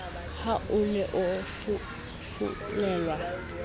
ha o ne o fufulelwa